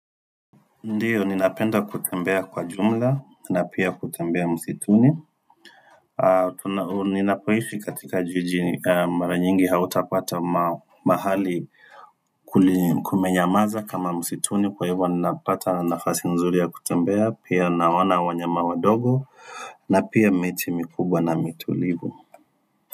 Ndio ninapenda kutembea kwa jumla na pia kutembea msituni ninapoishi katika jiji mara nyingi hautapata mahali kumenyamaza kama msituni. Kwa hivyo ninapata nafasi nzuri ya kutembea pia naona wanyama wadogo na pia miti mikubwa na mitulivu.